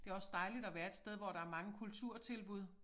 Det også dejligt at være et sted hvor der mange kulturtilbud